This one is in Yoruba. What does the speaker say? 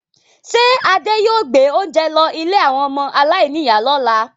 Ṣé Adé yóò gbé oúnjẹ lọ ilé àwọn ọmọ aláìníìyá lọ́la?